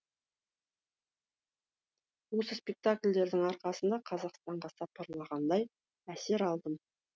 осы спектакльдердің арқасында қазақстанға сапарлағандай әсер алдым